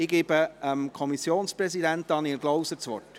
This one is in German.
Ich gebe dem Kommissionspräsidenten, Daniel Klauser, das Wort.